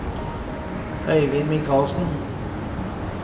Øivind Mikalsen